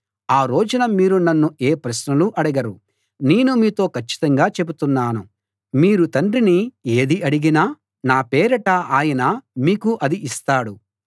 ఆ రోజున మీరు నన్ను ఏ ప్రశ్నలూ అడగరు నేను మీతో కచ్చితంగా చెబుతున్నాను మీరు తండ్రిని ఏది అడిగినా నా పేరిట ఆయన మీకు అది ఇస్తాడు